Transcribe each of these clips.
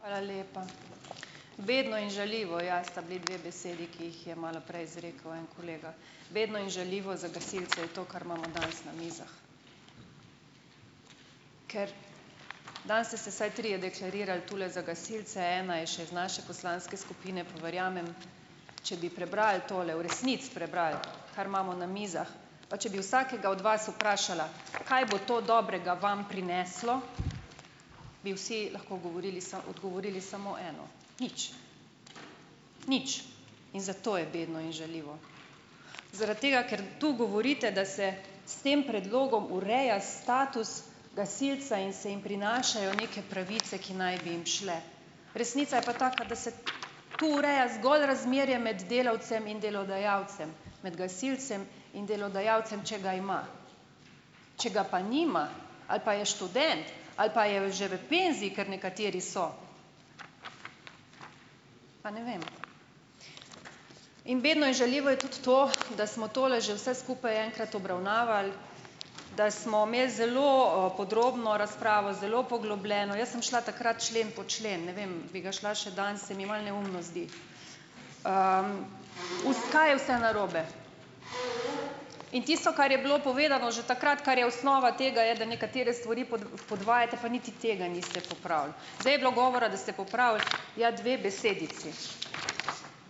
Hvala lepa. Bedno in žaljivo, ja, sta bili dve besedi, ki jih je malo prej izrekel en kolega. Bedno in žaljivo za gasilce je to, kar imamo danes na mizah. Ker danes ste se vsaj trije deklarirali tule za gasile, ena je še iz naše poslanske skupine, pa verjamem, če bi prebrali tole, v resnici prebrali, kar imamo na mizah, pa če bi vsakega od vas vprašala, kaj bo to dobrega vam prineslo, bi vsi lahko odgovorili odgovorili samo eno. Nič. Nič. In zato je bedno in žaljivo. Zaradi tega, ker tu govorite, da se s tem predlogom ureja status gasilca in se jim prinašajo neke pravice, ki naj bi jim šle, resnica je pa taka, da se tu ureja zgolj razmerje med delavcem in delodajalcem, med gasilcem in delodajalcem, če ga ima. Če ga pa nima ali pa je študent ali pa je v že v penziji, ker nekateri so, pa ne vem. In bedno in žaljivo tudi to, da smo tole že vse skupaj enkrat obravnavali, da smo imeli zelo podrobno razpravo, zelo poglobljeno. Jaz sem šla takrat člen po člen. Ne vem, bi ga šla še danes, se mi malo neumno zdi. Kaj je vse narobe? In tisto, kar je bilo povedano že takrat, kar je osnova tega, je, da nekatere stvari podvajate, pa niti tega niste popravili. Zdaj je bilo govora, da ste popravili, ja, dve besedici.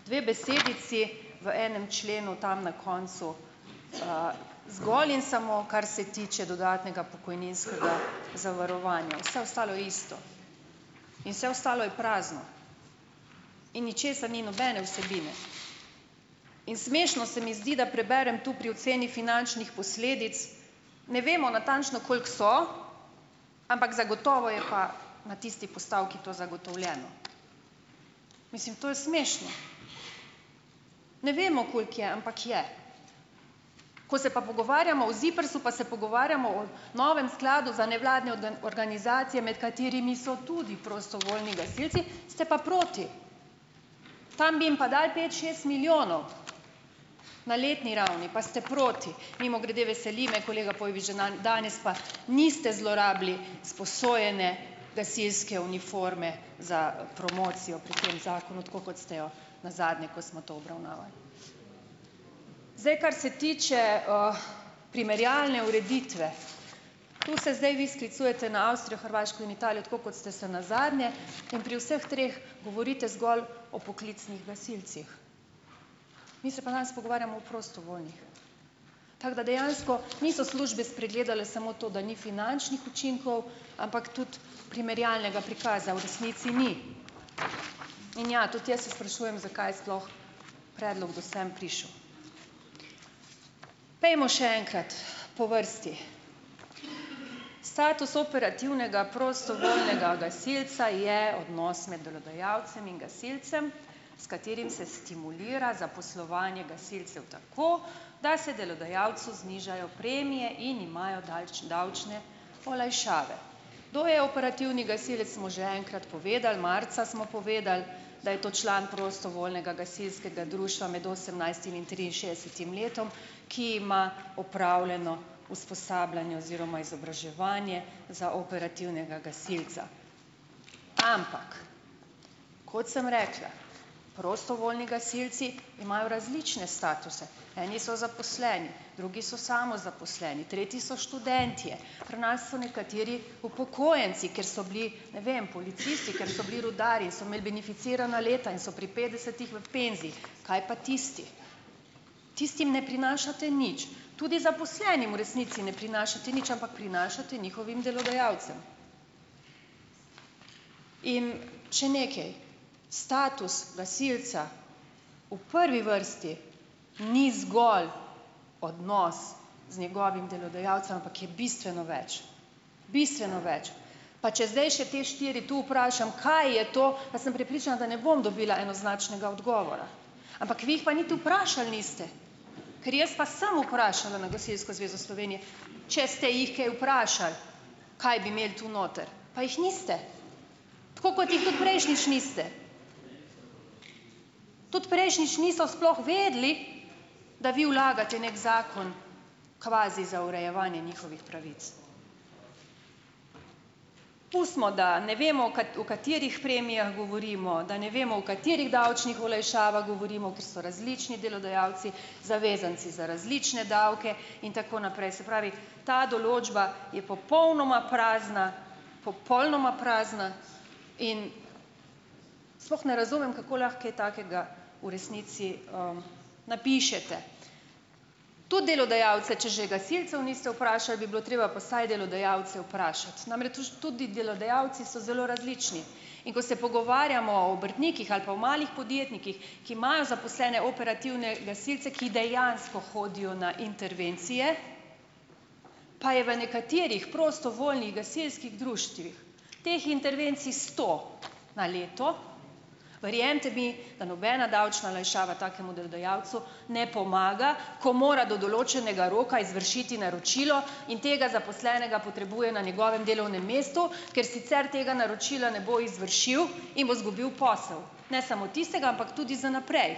Dve besedici v enem členu tam na koncu, zgolj in samo, kar se tiče dodatnega pokojninskega zavarovanja, vse ostalo je isto. In vse ostalo je prazno. In ničesar ni, nobene vsebine. In smešno se mi zdi, da preberem tu pri oceni finančnih posledic, ne vemo natančno, koliko so, ampak zagotovo je pa na tisti postavki to zagotovljeno. Mislim, to je smešno. Ne vemo, koliko je, ampak je. Ko se pa pogovarjamo o ZIPRS-u, pa se pogovarjamo o novem skladu za nevladne organizacije, med katerimi so tudi prostovoljni gasilci, ste pa proti. Tam bi jim pa dali pet šest milijonov na letni ravni, pa ste proti. Mimogrede, veseli me, kolega Pojbič, da danes pa niste zlorabili sposojene gasilske uniforme za promocijo pri tem zakonu, tako kot ste jo nazadnje, ko smo to obravnavali. Zdaj, kar se tiče primerjalne ureditve, to se zdaj vi sklicujete na Avstrijo, Hrvaško in Italijo, tako kot ste se nazadnje. In pri vseh treh govorite zgolj o poklicnih gasilcih. Mi se pa danes pogovarjamo o prostovoljnih. Tako da dejansko niso službe spregledale samo to, da ni finančnih učinkov, ampak tudi primerjalnega prikaza v resnici ni. In ja, tudi jaz se sprašujem, zakaj sploh predlog do sem prišel. Pojdimo še enkrat po vrsti. Status operativnega prostovoljnega gasilca je odnos med delodajalcem in gasilcem, s katerim se stimulira zaposlovanje gasilcev tako, da se delodajalcu znižajo premije in imajo davčne olajšave. Kdo je operativni gasilec, smo že enkrat povedali, marca smo povedali, da je to član prostovoljnega gasilskega društva med osemnajstim in triinšestdesetim letom, ki ima opravljeno usposabljanje oziroma izobraževanje za operativnega gasilca. Ampak kot sem rekla, prostovoljni gasilci imajo različne statuse, eni so zaposleni, drugi so samozaposleni, tretji so študentje, pri nas so nekateri upokojenci, ker so bili, ne vem, policisti, ker so bili rudarji, so imeli beneficirana leta in so pri petdesetih v penziji. Kaj pa tisti? Tistim ne prinašate nič. Tudi zaposlenim v resnici ne prinašate nič, ampak prinašate njihovim delodajalcem. In še nekaj. Status gasilca v prvi vrsti ni zgolj odnos z njegovim delodajalcem, ampak je bistveno več. Bistveno več. Pa če zdaj še te štiri tu vprašam, kaj je to, pa sem prepričana, da ne bom dobila enoznačnega odgovora. Ampak vi jih pa niti vprašali niste. Ker jaz pa sem vprašala na Gasilsko zvezo Slovenije, če ste jih kaj vprašali, kaj bi imeli tu noter, pa jih niste. Tako kot jih tudi prejšnjič niste. Tudi prejšnjič niso sploh vedeli, da vi vlagate neki zakon kvazi za urejevanje njihovih pravic. Pustimo, da ne vemo, o v katerih premijah govorimo, da ne vemo, o katerih davčnih olajšavah govorimo, ker so različni delodajalci, zavezanci za različne davke in tako naprej. Se pravi, ta določba je popolnoma prazna, popolnoma prazna, in sploh ne razumem, kako lahko kaj takega v resnici napišete. Tudi delodajalce, če že gasilcev niste vprašali, bi bilo treba pa vsaj delodajalce vprašati. Namreč, tudi delodajalci so zelo različni. In ko se pogovarjamo o obrtnikih ali pa o malih podjetnikih, ki imajo zaposlene operativne gasilce, ki dejansko hodijo na intervencije, pa je v nekaterih prostovoljnih gasilskih društvih teh intervencij sto na leto. Verjemite mi, da nobena davčna olajšava takemu delodajalcu ne pomaga, ko mora do določenega roka izvršiti naročilo in tega zaposlenega potrebuje na njegovem delovnem mestu, ker sicer tega naročila ne bo izvršil in bo zgubil posel, ne samo tistega, ampak tudi za naprej.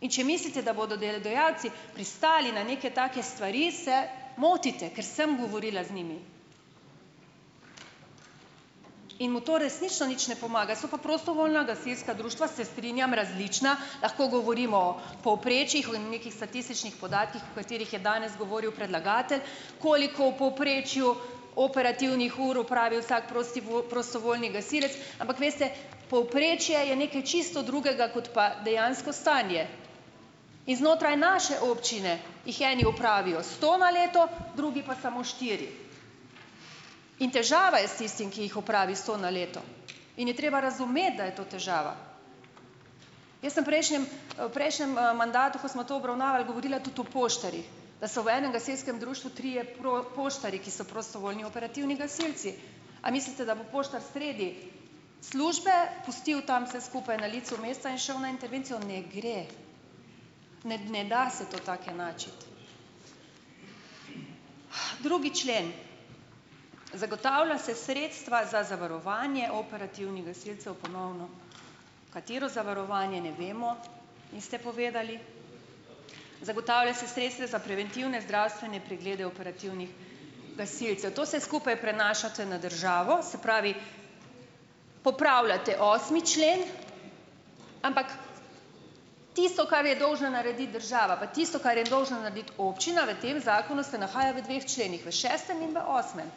In če mislite, da bodo delodajalci pristali na neke take stvari, se motite, ker sem govorila z njimi. In mu to resnično nič ne pomaga. So pa prostovoljna gasilska društva, se strinjam, različna, lahko govorimo o povprečjih, o nekih statističnih podatkih, o katerih je danes govoril predlagatelj, koliko v povprečju operativnih ur opravi vsak prostovoljni gasilec, ampak veste povprečje je nekaj čisto drugega kot pa dejansko stanje. In znotraj naše občine jih eni opravijo sto na leto, drugi pa samo štiri. In težava je s tistim, ki jih opravi sto na leto. In je treba razumeti, da je to težava. Jaz sem prejšnjem v prejšnjem mandatu, ko smo to obravnavali, govorila tudi o poštarjih, da so v enem gasilskem društvu trije poštarji, ki so prostovoljni operativni gasilci. A mislite, da bo poštar sredi službe pustil tam vse skupaj na licu mesta in šel na intervencijo? Ne gre, ne, ne da se to tako enačiti. Drugi člen - zagotavlja se sredstva za zavarovanje operativnih gasilcev. Ponovno, katero zavarovanje, ne vemo, niste povedali. Zagotavlja se sredstva za preventivne zdravstvene preglede operativnih gasilcev. To vse skupaj prenašate na državo, se pravi, popravljate osmi člen, ampak, tisto, kar je dolžna narediti država, pa tisto, kar je dolžna narediti občina, v tem zakonu se nahaja v dveh členih - v šestem in v osmem,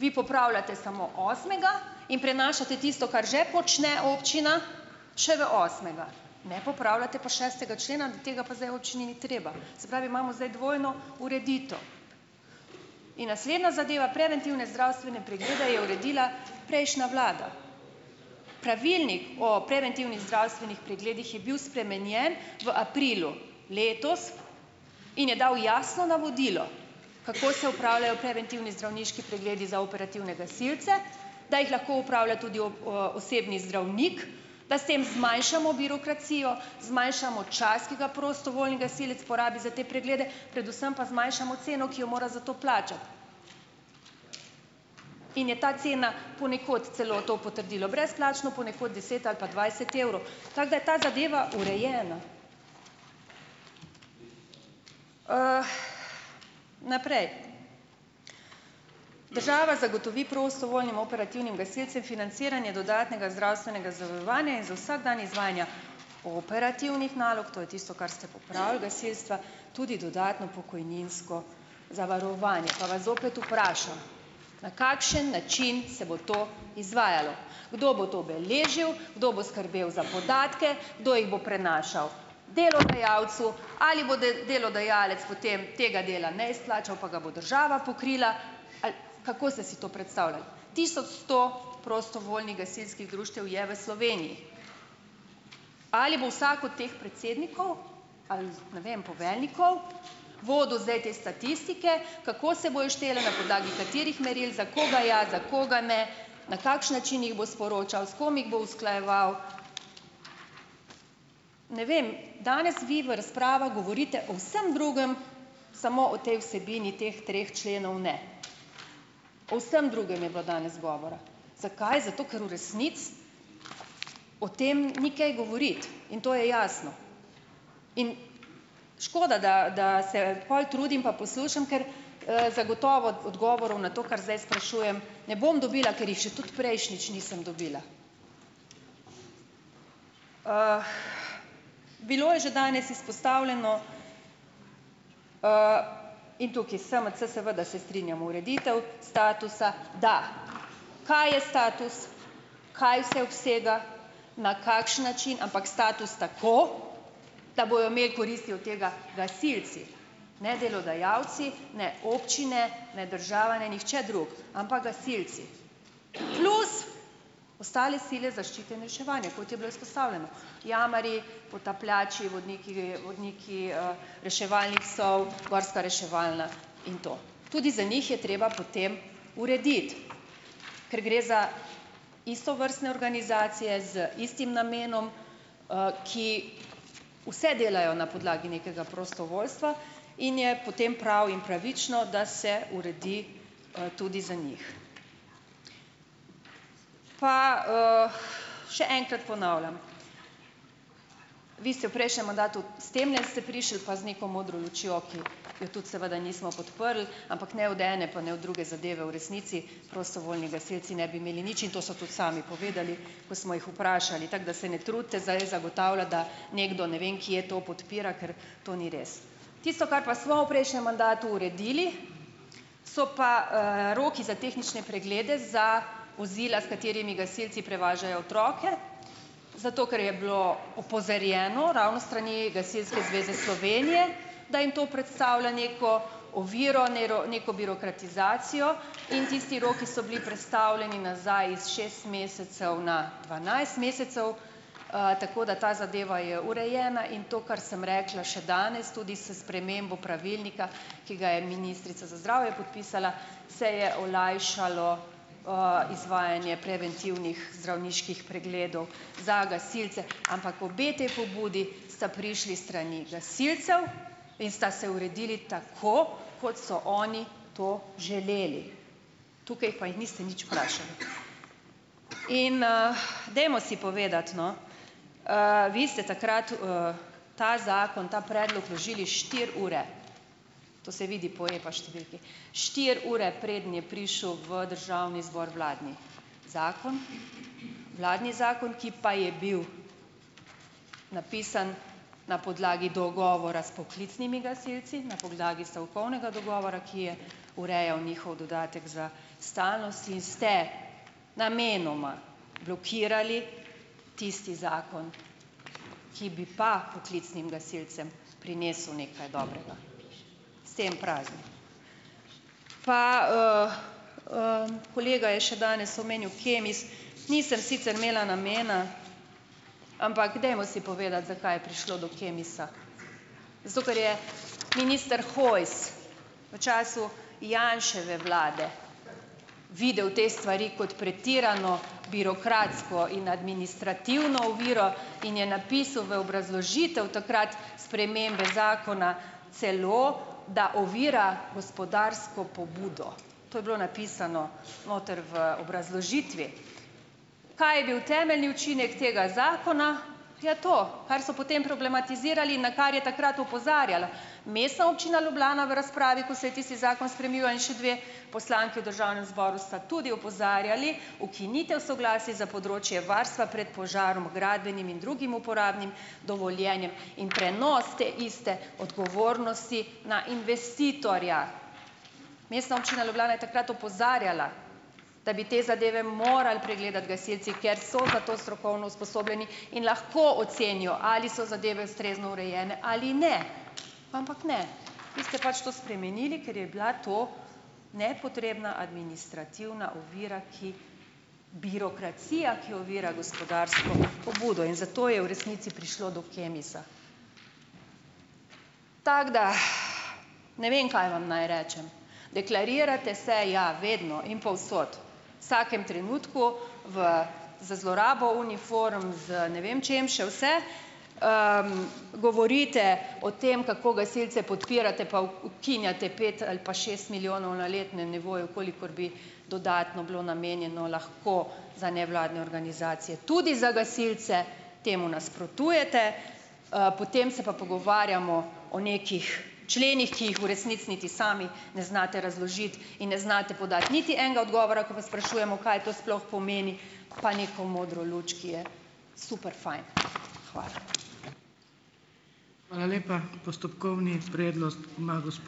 vi popravljate samo osmega in prenašate tisto, kar že počne občina, še v osmega. Ne popravljate pa šestega člena, tega pa zdaj občini ni treba, se pravi imamo zdaj dvojno ureditev. In naslednja zadeva, preventivne zdravstvene preglede je uredila prejšnja vlada. Pravilnik o preventivnih zdravstvenih pregledih je bil spremenjen v aprilu letos in je dal jasno navodilo, kako se opravljajo preventivni zdravniški pregledi za operativne gasilce, da jih lahko opravlja tudi osebni zdravnik, da s tem zmanjšamo birokracijo, zmanjšamo čas, ki ga prostovoljni gasilec porabi za te preglede, predvsem pa zmanjšamo ceno, ki jo mora za to plačati. In je ta cena, ponekod celo to potrdilo brezplačno, ponekod deset ali pa dvajset evrov, tako da je ta zadeva urejena. Naprej, država zagotovi prostovoljnim operativnim gasilcem financiranje dodatnega zdravstvenega zavarovanja in za vsak dan izvajanja operativnih nalog, to je tisto, kar ste popravili, gasilstva, tudi dodatno pokojninsko zavarovanje. Pa vas zopet vprašam - na kakšen način se bo to izvajalo? Kdo bo to beležil? Kdo bo skrbel za podatke? Kdo jih bo prenašal delodajalcu? Ali bo delodajalec potem tega dela ne izplačal, pa ga bo država pokrila? Ali kako ste si to predstavljali? Tisoč sto prostovoljnih gasilskih društev je v Sloveniji. Ali bo vsak od teh predsednikov ali, ne vem, poveljnikov, vodil zdaj te statistike, kako se bojo štele? Na podlagi katerih meril? Za koga ja, za koga ne? Na kakšen način jih bo sporočal? S kom jih bom usklajeval? Ne vem, danes vi v razpravah govorite o vsem drugem, samo o tej vsebini teh treh členov ne. O vsem drugem je bilo danes govora. Zakaj? Zato, ker v resnici o tem ni kaj govoriti in to je jasno in škoda, da da se pol trudim pa poslušam, ker zagotovo odgovorov na to, kar zdaj sprašujem, ne bom dobila, ker jih že tudi prejšnjič nisem dobila. Bilo je že danes izpostavljeno in tukaj SMC, seveda se strinjamo, ureditev statusa, da. Kaj je status? Kaj vse obsega? Na kakšen način? Ampak status tako, da bojo imeli koristi od tega gasilci, ne delodajalci, ne občine, ne država, ne nihče drug, ampak gasilci, plus ostale sile zaščite in reševanje, kot je bilo izpostavljeno - jamarji, potapljači, vodniki, vodniki reševalnih psov, gorska reševalna in to. Tudi za njih je treba potem urediti, ker gre za istovrstne organizacije z istim namenom, ki vse delajo na podlagi nekega prostovoljstva, in je potem prav in pravično, da se uredi tudi za njih. Pa, še enkrat ponavljam. Vi ste v prejšnjem mandatu, s temle ste prišli pa z neko modro lučjo, ki jo tudi seveda nismo podprli, ampak ne od ene pa ne od druge zadeve v resnici prostovoljni gasilci ne bi imeli nič in to so tudi sami povedali, ko smo jih vprašali, tako da se ne trudite zdaj zagotavljati, da nekdo ne vem kje to podpira, ker to ni res. Tisto, kar pa smo v prejšnjem mandatu uredili, so pa roki za tehnične preglede za vozila, s katerimi gasilci prevažajo otroke, zato ker je bilo opozorjeno, ravno s strani Gasilske zveze Slovenije, da jim to predstavlja neko oviro, neko birokratizacijo in tisti roki so bili prestavljeni nazaj iz šest mesecev na dvanajst mesecev, tako da ta zadeva je urejena in to, kar sem rekla, še danes, tudi s spremembo pravilnika, ki ga je ministrica za zdravje podpisala, se je olajšalo, izvajanje preventivnih zdravniških pregledov za gasilce. Ampak obe te pobudi sta prišli s strani gasilcev in sta se uredili tako, kot so oni to želeli. Tukaj pa jih niste nič vprašali. In dajmo si povedati, no. Vi ste takrat ta zakon, ta predlog vložili štiri ure - to se vidi po EPA številki - štiri ure, preden je prišel v Državni zbor vladni zakon - vladni zakon, ki pa je bil napisan na podlagi dogovora s poklicnimi gasilci, na podlagi stavkovnega dogovora, ki je urejal njihov dodatek za stalnost. In ste namenoma blokirali tisti zakon, ki bi pa poklicnim gasilcem prinesel nekaj dobrega. S tem praznim. Pa kolega je še danes omenjal Kemis. Nisem sicer imela namena, ampak dajmo si povedati, zakaj je prišlo do Kemisa. Zato ker je minister Hojs v času Janševe vlade videl te stvari kot pretirano birokratsko in administrativno oviro in je napisal v obrazložitev takrat spremembe zakona celo, da ovira gospodarsko pobudo. To je bilo napisano noter v obrazložitvi. Kaj je bil temeljni učinek tega zakona? Ja, to, kar so potem problematizirali in na kar je takrat opozarjala Mestna občina Ljubljana v razpravi, ko se je tisti zakon spreminjal, in še dve poslanki v Državnem zboru sta tudi opozarjali: ukinitev soglasja za področje varstva pred požarom h gradbenim in drugim uporabnim dovoljenjem in prenos te iste odgovornosti na investitorja. Mestna občina Ljubljana je takrat opozarjala, da bi te zadeve morali pregledati gasilci. Ker so za to strokovno usposobljeni. In lahko ocenijo, ali so zadeve ustrezno urejene ali ne. Ampak ne. Vi ste pač to spremenili, ker je bila to nepotrebna administrativna ovira, ki - birokracija, ki ovira gospodarsko pobudo. In zato je v resnici prišlo do Kemisa. Tako da - ne vem, kaj vam naj rečem. Deklarirate se - ja, vedno. In povsod. Vsakem trenutku. Za zlorabo uniform, z ne vem čim še vse. Govorite o tem, kako gasilci podpirate pa ukinjate pet ali pa šest milijonov na letnem nivoju, kolikor bi dodatno bilo namenjeno lahko za nevladne organizacije. Tudi za gasilce. Temu nasprotujete. Potem se pa pogovarjamo o nekih členih, ki jih v resnici niti sami ne znate razložiti. In ne znate podati niti enega odgovora, ko vas sprašujemo, kaj to sploh pomeni. Pa neko modro luč, ki je super fajn. Hvala.